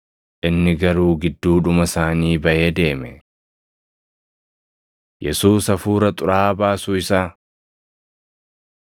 Inni garuu gidduudhuma isaanii baʼee deeme. Yesuus Hafuura Xuraaʼaa Baasuu Isaa 4:31‑37 kwf – Mar 1:21‑28